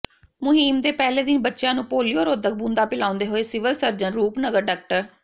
ਮੁਹਿੰਮ ਦੇ ਪਹਿਲੇ ਦਿਨ ਬੱਚਿਆ ਨੂੰ ਪੋਲੀਓ ਰੋਧਕ ਬੂੰਦਾਂ ਪਿਆਉਂਦੇ ਹੋਏ ਸਿਵਲ ਸਰਜਨ ਰੂਪਨਗਰ ਡਾ